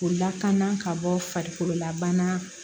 K'o lakana ka bɔ farikololabana